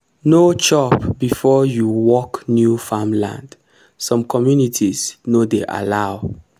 no chop before you work new farmland some communities no dey allow.